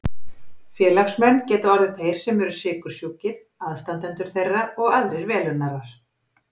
Félagsmenn geta orðið þeir sem eru sykursjúkir, aðstandendur þeirra og aðrir velunnarar.